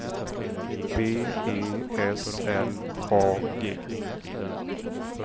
B E S L A G